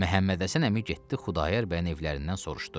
Məhəmməd Həsən əmi getdi Xudayar bəyin evlərindən soruşdu.